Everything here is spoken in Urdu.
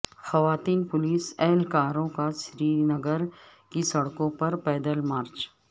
خواتین پولیس اہلکاروں کا سرینگر کی سڑکوں پر پیدل مارچ